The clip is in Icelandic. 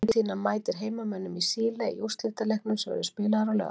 Þjóðverjum veitti betur í stríðinu á Vesturvígstöðvunum.